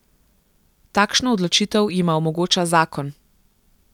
Takšno odločitev jima omogoča zakon.